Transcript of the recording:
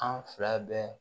An fila bɛɛ